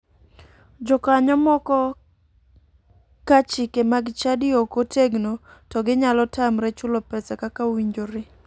Jokanyo moko ka chike mag chadi ok otegno to ginyalo tamre chulo pesa kaka owinjore.